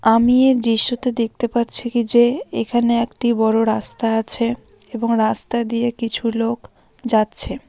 আমি এই দৃশ্যতে দেখতে পাচ্ছি কি যে এখানে একটি বড়ো রাস্তা আছে এবং রাস্তা দিয়ে কিছু লোক যাচ্ছে।